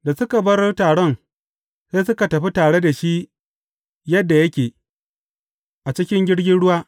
Da suka bar taron, sai suka tafi tare da shi yadda yake, a cikin jirgin ruwa.